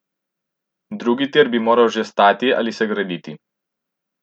Drugi tir bi moral že stati ali se graditi.